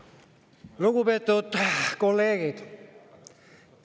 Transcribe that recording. Lugupeetud kolleegid!